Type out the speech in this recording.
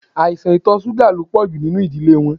Aisan itọ ṣuga lo pọju ninu idile wọn